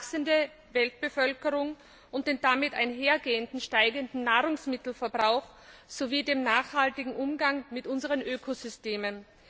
die wachsende Weltbevölkerung und den damit einhergehenden steigenden Nahrungsmittelverbrauch sowie den nachhaltigen Umgang mit unseren Ökosystemen.